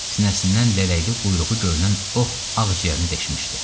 Sinəsindən lələkli quyruğu görünən ox ağciyərini deşmişdi.